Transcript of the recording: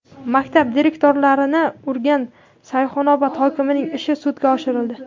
Maktab direktorlarini urgan Sayxunobod hokimining ishi sudga oshirildi .